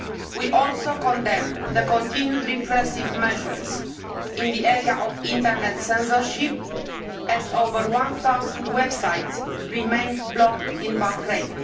We also condemn the continued repressive measures in the area of Internet censorship, as over one thousand websites remain blocked in Bahrain.